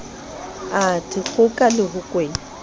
a dikgoka le ho kwena